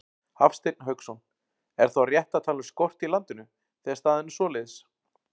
Hafsteinn Hauksson: Er þá rétt að tala um skort í landinu, þegar staðan er svoleiðis?